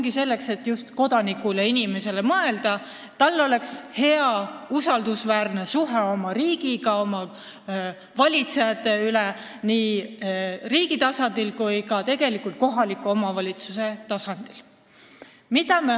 Just selleks, et kodanikule, inimesele mõelda, et tal oleks hea, usaldusväärne suhe oma riigiga, oma valitsejatega nii riigi tasandil kui ka kohaliku omavalitsuse tasandil.